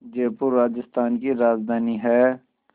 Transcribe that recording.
जयपुर राजस्थान की राजधानी है